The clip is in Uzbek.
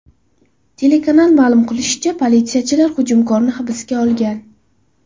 Telekanal ma’lum qilishicha, politsiyachilar hujumkorni hibsga olgan.